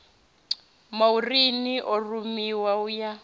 maureen a rumiwe u ya